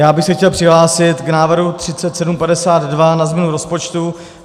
Já bych se chtěl přihlásit k návrhu 3752 na změnu rozpočtu.